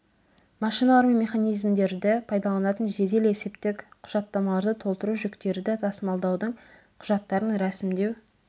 машиналар мен механизмдерді пайдаланатын жедел есептік құжаттамаларды толтыру жүктерді тасымалдаудың құжаттарын рәсімдеу